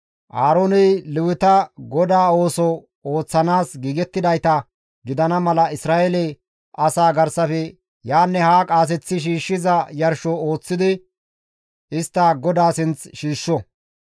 Aarooney Leweta GODAA ooso ooththanaas giigettidayta gidana mala Isra7eele asaa garsafe yaanne haa qaaseththi shiishshiza yarsho ooththidi istta GODAA sinth shiishsho.